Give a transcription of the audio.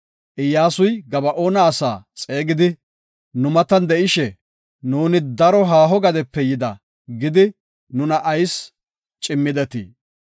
Iyyasuy Gaba7oona asaa xeegidi, “Nu matan de7ishe, ‘Nuuni daro haaho biittafe yida’ gidi, nuna ayis cimmidetii?